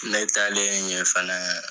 Ne taalen ɲe fɛnɛ